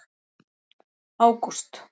ágúst